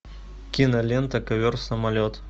кинолента ковер самолет